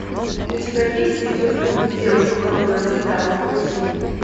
у тебя есть видеофильм девушка которая застряла в паутине